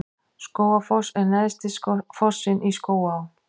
Skógafoss er neðsti fossinn í Skógaá.